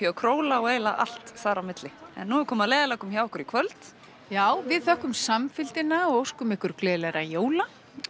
Króla og eiginlega allt þar á milli en nú er komið að leiðarlokum hjá okkur í kvöld já við þökkum samfylgdina og óskum ykkur gleðilegra jóla